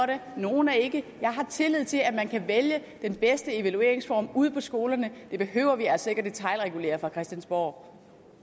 det nogle er ikke jeg har tillid til at man kan vælge den bedste evalueringsform ude på skolerne det behøver vi altså ikke detailregulere fra christiansborg